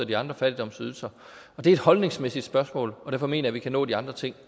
de andre fattigdomsydelser det er et holdningsmæssigt spørgsmål derfor mener jeg vi kan nå de andre ting